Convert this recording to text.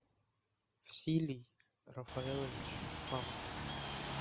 силий рафаэлович павлов